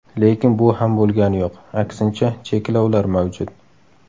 Lekin bu ham bo‘lgani yo‘q, aksincha, cheklovlar mavjud.